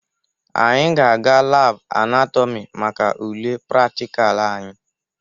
Anyị ga-aga labụ anatọmị maka ule praktikal anyị